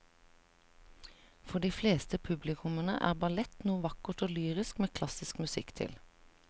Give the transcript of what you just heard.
For de fleste publikummere er ballett noe vakkert og lyrisk med klassisk musikk til.